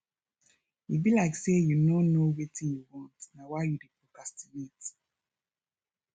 e be like say you no know wetin you want na why you dey procrastinate